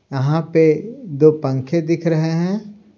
यहां पे दो पंखे दिख रहे हैं।